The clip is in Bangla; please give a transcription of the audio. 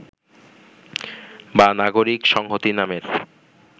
বা নাগরিক সংহতি নামের